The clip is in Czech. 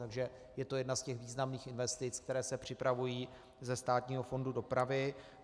Takže je to jedna z těch významných investic, které se připravují ze státního fondu dopravy.